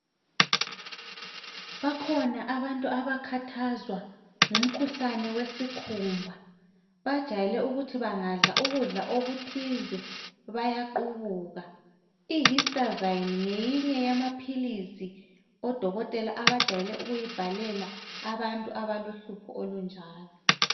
Bakhona abantu abakhathazwa ngumkhuhlane wesikhumba. Bajayele ukuthi bangadla ukudla okuthize, bayaqubuka. IHistazine ngeyinye yamaphilisi, odokotela abajayele ukuyibhalela, abantu, abalohlupho olunjalo.